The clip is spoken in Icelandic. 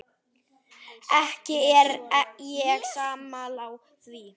Ekki er ég sammála því.